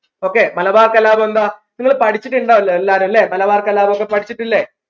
okay Malabar കലാപം എന്താ നിങ്ങൾ പഠിച്ചിട്ടുണ്ടാവുല്ലോ എല്ലാരും ല്ലേ മലബാർ കലാപം ഒക്കെ പഠിച്ചിട്ടില്ലേ